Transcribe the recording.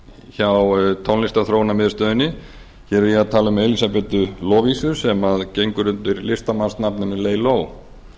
hjá tónlistarþróunarmiðstöðinni hér er ég að tala um elísabetu lovísu sem gengur undir listamannsnafninu